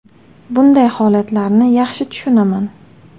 Bunday holatlarni yaxshi tushunaman.